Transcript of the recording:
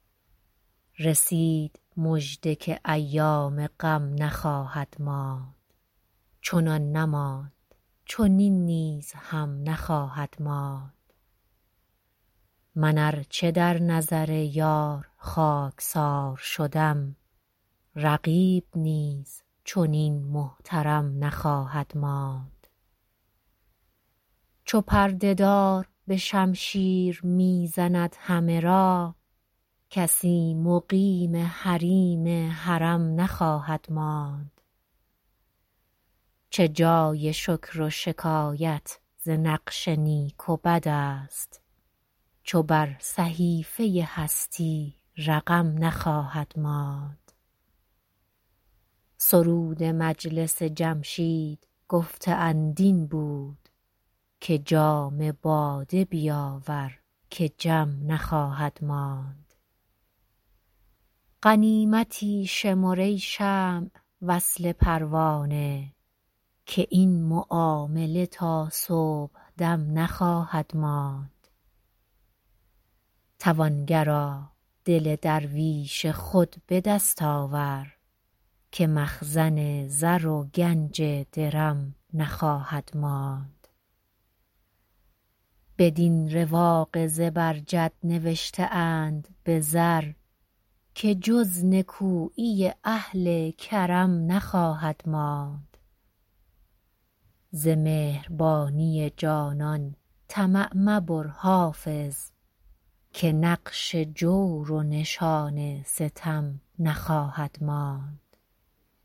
رسید مژده که ایام غم نخواهد ماند چنان نماند چنین نیز هم نخواهد ماند من ار چه در نظر یار خاک سار شدم رقیب نیز چنین محترم نخواهد ماند چو پرده دار به شمشیر می زند همه را کسی مقیم حریم حرم نخواهد ماند چه جای شکر و شکایت ز نقش نیک و بد است چو بر صحیفه هستی رقم نخواهد ماند سرود مجلس جمشید گفته اند این بود که جام باده بیاور که جم نخواهد ماند غنیمتی شمر ای شمع وصل پروانه که این معامله تا صبح دم نخواهد ماند توانگرا دل درویش خود به دست آور که مخزن زر و گنج درم نخواهد ماند بدین رواق زبرجد نوشته اند به زر که جز نکویی اهل کرم نخواهد ماند ز مهربانی جانان طمع مبر حافظ که نقش جور و نشان ستم نخواهد ماند